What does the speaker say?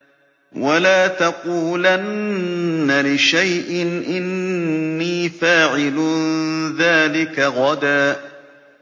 وَلَا تَقُولَنَّ لِشَيْءٍ إِنِّي فَاعِلٌ ذَٰلِكَ غَدًا